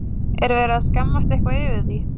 Er verið að skammast eitthvað yfir því?